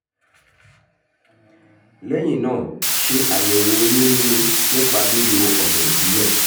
lẹ́yìn náà ṣe àyẹ̀wò oyún níní nípa lílo ọ̀nà ìbílẹ̀